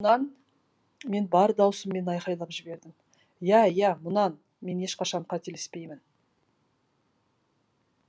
мұнан мен бар даусыммен айқайлап жібердім иә иә мұнан мен ешқашан қателеспеймін